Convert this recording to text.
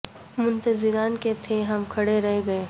منتظر ان کے تھے ہم کھڑے رہ گئے